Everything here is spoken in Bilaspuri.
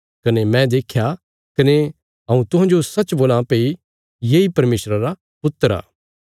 कने मैं देख्या कने हऊँ तुहांजो सच्च बोलां भई येई परमेशरा रा पुत्र आ